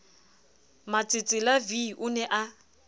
matsetsela v o ne a